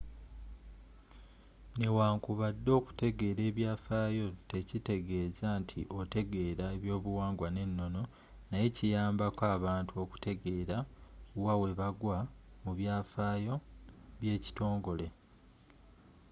newankubadde okutegeera ebyafaayo tekitegeeza nti otegeera ebyobuwangwa ne ennono naye kiyamba ko abantu okutegeera wa webagwa mu byafaayo by'ekitongole